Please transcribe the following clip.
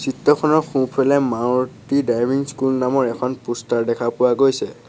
চিত্ৰখনৰ সোঁফালে Maruti driving school নামৰ এখন প'ষ্টাৰ দেখা পোৱা গৈছে।